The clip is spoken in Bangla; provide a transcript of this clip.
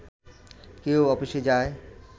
কেউ অফিসে যায়